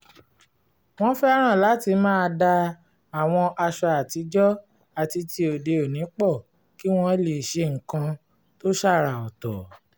wọ́n fẹ́ràn láti máa da àwọn aṣọ àtijọ́ àti ti òde-òní pọ̀ kí wọ́n lè ṣe nǹkan tó ṣàrà ọ̀tọ̀